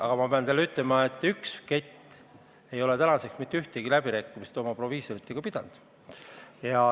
Aga ma pean teile ütlema, et üks kett ei ole seni mitte mingeid läbirääkimisi oma proviisoritega pidanud.